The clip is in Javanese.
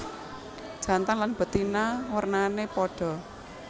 Jantan lan betina wernané padha